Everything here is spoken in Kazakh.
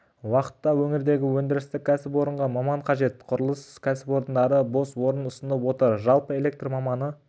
уақытта өңірдегі өндірістік кәсіпорынға маман қажет құрылыс кәсіпорындары бос орын ұсынып отыр жалпы электр маманы